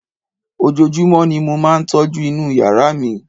ojojúmọ́ ni mo máà ń tọ́jú inú yàrá mi